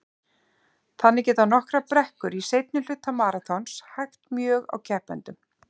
Þannig geta nokkrar brekkur í seinni hluta maraþons hægt mjög á keppendum.